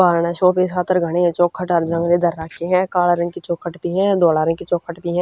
ब्हारणह show piece खातर घणे ह चौखट अर जंगले धर राखे हंकाल्ह रंग की चौखट भी हधोल्ह रंग की चौखट भी हं।